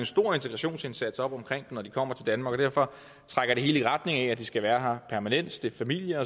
stor integrationsindsats op omkring når de kommer til danmark og derfor trækker det hele i retning af at de skal være her permanent stifte familie